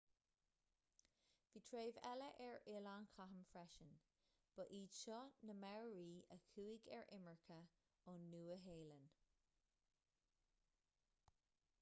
bhí treibh eile ar oileáin chatham freisin ba iad seo na maori a chuaigh ar imirce ón nua-shéalainn